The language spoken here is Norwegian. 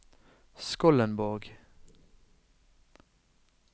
Skollenborg